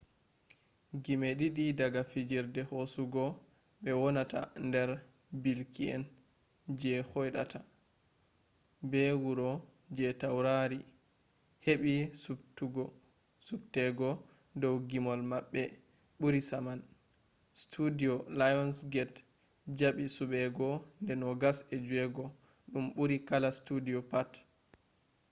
gimee didii daga fijirde hosugo be wonata nder bilki’en je hoidata be wuro je taurari hebii subtegoo dou gimol mabbe buri saman.studio lionsgate jabii subego de 26 –dum burii kala studio pat